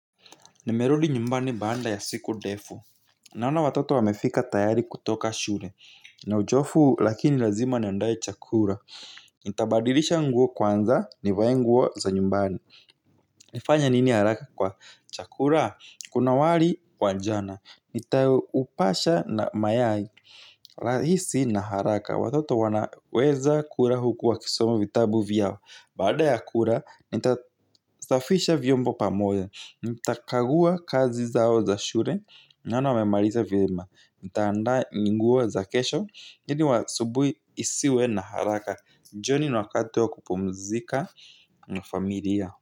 Nimerudi nyumbani baada ya siku ndefu. Naona watoto wamefika tayari kutoka shule. Na uchovu lakini lazima niandae chakula. Nitabadilisha nguo kwanza nivae nguo za nyumbani. Nifanye nini haraka kwa chakua? Kuna wali wa jana. Nitaupasha na mayai. Rahisi na haraka. Watoto wanaweza kula huku wakisoma vitabu vyao. Baada ya kula nita safisha vyombo pamoja. Nitakagua kazi zao za shule. Nani wamemaliza vyema. Nitandaa ni nguo za kesho ili asubuhi isiwe na haraka. Jioni ni wakati wa kupumzika na familia.